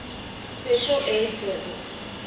special air service